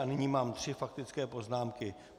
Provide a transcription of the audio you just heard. A nyní mám tři faktické poznámky.